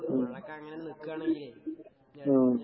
ഉം ഉം.